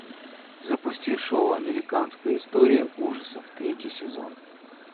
запусти шоу американская история ужасов третий сезон